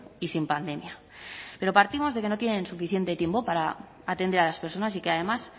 y sin pandemia pero partimos de que no tienen suficiente tiempo para atender a las personas y que además